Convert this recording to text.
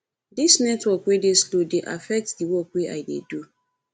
dis network wey dey slow dey affect di work wey i dey do